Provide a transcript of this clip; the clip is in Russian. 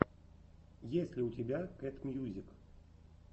есть ли у тебя кэт мьюзик